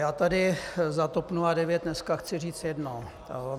Já tady za TOP 09 dneska chci říct jedno.